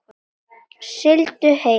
Sigldu heill.